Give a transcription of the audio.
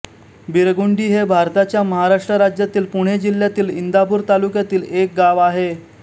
बिरगुंडी हे भारताच्या महाराष्ट्र राज्यातील पुणे जिल्ह्यातील इंदापूर तालुक्यातील एक गाव आहे